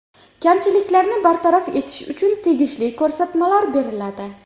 Kamchiliklarni bartaraf etish uchun tegishli ko‘rsatmalar beriladi.